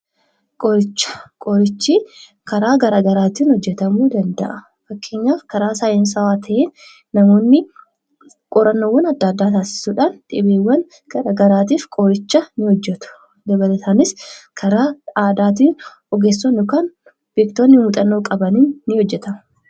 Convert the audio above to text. Qorichi karaa garagaraatiin hojjetamuu danda'a. Fakkeenyaaf karaa saansawaa ta'een namoonni qorannoo taassisuudhaan qorichoota garagaraa ni hojjetu akkasumas karaa aadaatiin namoonni muuxannoo qaban ni hojjetu.